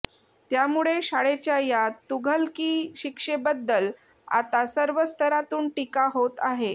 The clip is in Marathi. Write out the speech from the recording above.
त्यामुळे शाळेच्या या तुघलकी शिक्षेबद्दल आता सर्व स्तरातून टीका होत आहे